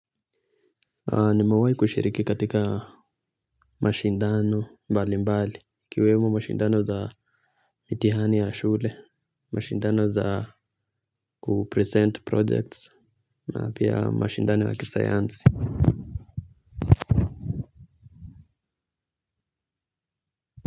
Na mewai kushiriki katika mashindano mbali mbali ikiwemo mashindano za mitihani ya shule, mashindano za kupresent projects na pia mashindano ya kisayansi.